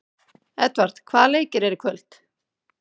Edvard, hvaða leikir eru í kvöld?